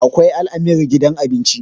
akwai al'amir gidan abinci